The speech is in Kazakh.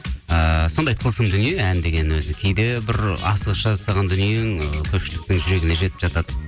ііі сондай тылсым дүние ән деген өзі кейде бір асығыс жасаған дүниең ы көпшіліктің жүрегіне жетіп жатады